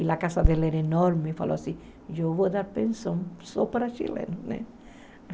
E a casa dela era enorme, falou assim, eu vou dar pensão só para chileno, né?